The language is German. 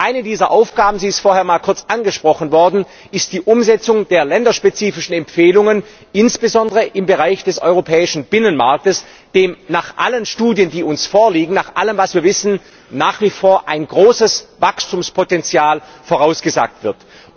Eine dieser Aufgaben sie ist vorhin einmal kurz angesprochen worden ist die Umsetzung der länderspezifischen Empfehlungen, insbesondere im Bereich des Europäischen Binnenmarkts, dem nach allen Studien, die uns vorliegen, nach allem, was wir wissen, nach wie vor ein großes Wachstumspotenzial vorausgesagt wird.